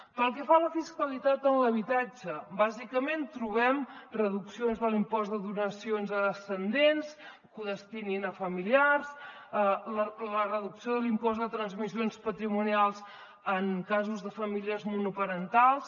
pel que fa a la fiscalitat en l’habitatge bàsicament trobem reduccions de l’impost de donacions a descendents que ho destinin a familiars la reducció de l’impost de transmissions patrimonials en casos de famílies monoparentals